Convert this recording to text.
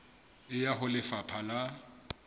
e ya ho lefapha la